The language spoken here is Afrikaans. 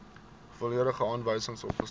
volledige aanwysings opgestel